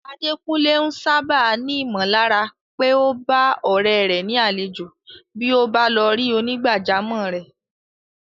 Adekunle ń sáábà ní ìmọ̀lára pé ó bá ọ̀rẹ́ rẹ̀ ni àlejò bí ó bá lọ rí onígbàjámọ̀ rẹ̀.